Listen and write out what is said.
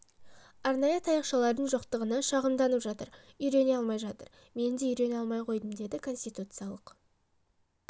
арнайы таяқшалардың жоқтығына шағымданып жатыр үйрене алмай жатыр мен де үйрене алмай қойдым деді конституциялық